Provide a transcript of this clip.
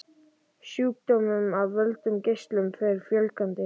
Sjúkdómum af völdum geislunar fer fjölgandi.